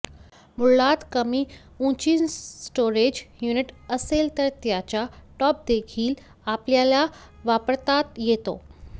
मुळात कमी उंचीचंस्टोरेज युनिट असेल तर त्याचा टॉपदेखील आपल्याला वापरता येतो